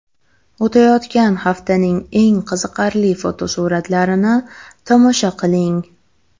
O‘tayotgan haftaning eng qiziqarli fotosuratlarini tomosha qiling.